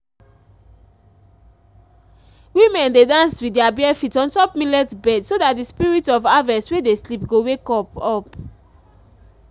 women dey dance with their barefeet on top millet bed so that spirit of harvest wey dey sleep go wake up. up.